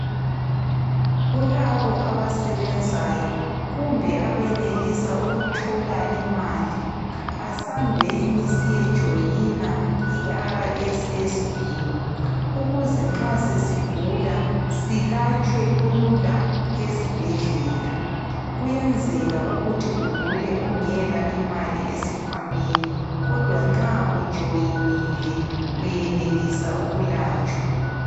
Kulabo abasebenzayo kumbe abenelisa ukuthola imali, asambeni siye joina iRSSB. Ukuze nxa sesigula silatshwe lula ezibhedlela. Kuyenzeka ukuthi ugule ungela imali esikhwameni kodwa nxa ujoyinile uyenelisa ukulatshwa.